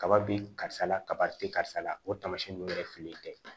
Kaba be karisa la kaba te karisa la o tamasiyɛn nunnu yɛrɛ fililen tɛ